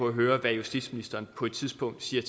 at høre hvad justitsministeren på et tidspunkt siger